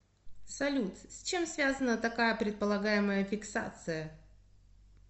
салют с чем связана такая предполагаемая фиксация